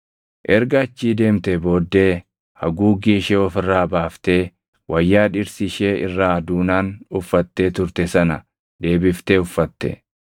Erga achii deemtee booddee haguuggii ishee of irraa baaftee wayyaa dhirsi ishee irraa duunaan uffattee turte sana deebiftee uffatte.